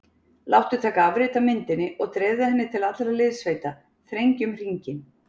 Láttu taka afrit af myndinni og dreifðu henni til allra liðssveita: Þrengjum hringinn.